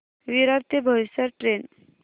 विरार ते बोईसर ट्रेन